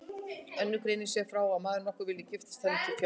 Önnur greinir svo frá að maður nokkur vildi giftast henni til fjár.